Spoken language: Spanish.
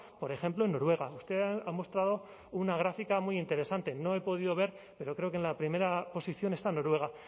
por ejemplo en noruega usted ha mostrado una gráfica muy interesante no he podido ver pero creo que en la primera posición esta noruega